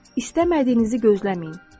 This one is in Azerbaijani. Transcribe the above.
İstəmədiyinizi gözləməyin.